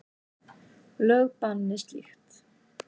Lög banni slíkt.